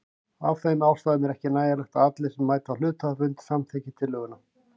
Af þeim ástæðum er ekki nægjanlegt að allir sem mæta á hluthafafund samþykki tillöguna.